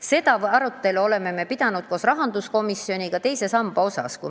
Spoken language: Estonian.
Seda arutelu me oleme pidanud koos rahanduskomisjoniga teisest sambast rääkides.